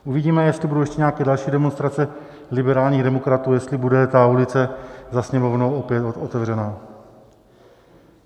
Uvidíme, jestli budou ještě nějaké další demonstrace liberálních demokratů, jestli bude ta ulice za Sněmovnou opět otevřená.